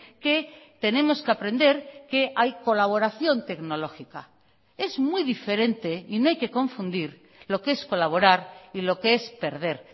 que tenemos que aprender que hay colaboración tecnológica es muy diferente y no hay que confundir lo que es colaborar y lo que es perder